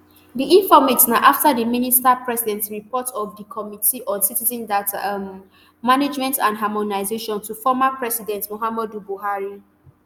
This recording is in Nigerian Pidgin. di informate na after di minister president report of di committee on citizen data um management and harmonization um to former president muhammadu buhari